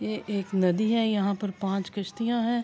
یہ ایک ندی ہے یہاں پی پانچ کشتیا ہے۔